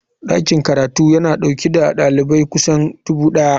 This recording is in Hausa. Dakin karatun yana dauke da dalibai kusan dubu daya.